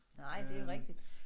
Nej det rigtigt